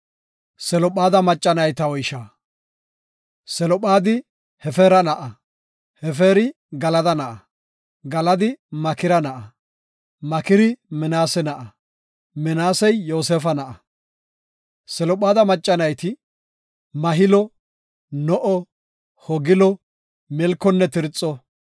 Selophaadi Hefeera na7a; Hefeeri Galada na7a; Galadi Makira na7a; Makiri Minaase na7a; Minaasey Yoosefa na7a. Selophaada macca nayti Mahilo, No7o, Hoglo, Milkonne Tirxo.